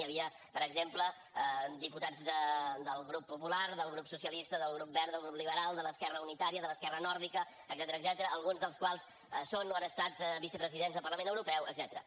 hi havia per exemple diputats del grup popular del grup socialista del grup verd del grup liberal de l’esquerra unitària de l’esquerra nòrdica etcètera alguns dels quals són o han estat vicepresidents del parlament europeu etcètera